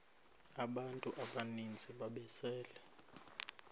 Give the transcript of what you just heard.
abantu abaninzi ababesele